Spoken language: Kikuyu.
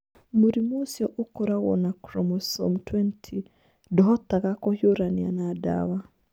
Mũrimũ ũcio ũkoragwo na chromosome 20 ndũhotaga kũhiũrania na ndawa.